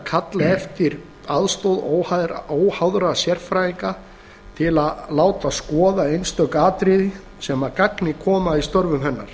kalla eftir aðstoð óháðra sérfræðinga til að láta skoða einstök atriði sem að gagni koma í störfum hennar